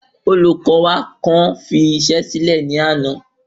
Olùkó wa kan fi iṣẹ sílẹ ní àná